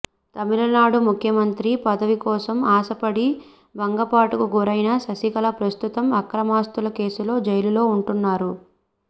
తమిళనాడు ముఖ్యమంత్రి పదవి కోసం ఆశపడి భంగపాటుకు గురైన శశికళ ప్రస్తుతం ఆక్రమాస్తుల కేసులో జైలులో ఉంటున్నారు